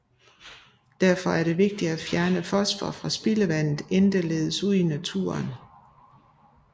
Derfor er det vigtigt at fjerne fosfor fra spildevandet inden det ledes ud i naturen